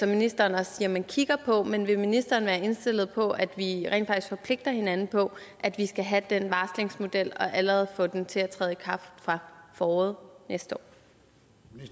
ministeren også siger man kigger på men vil ministeren være indstillet på at vi rent faktisk forpligter hinanden på at vi skal have den varslingsmodel og allerede have den til at træde i kraft fra foråret næste